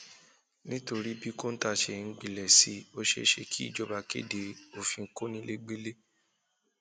nítorí bí kọńtà ṣe ń gbilẹ sí i ó ṣeé ṣe kíjọba kéde òfin kọnilẹgbẹlẹ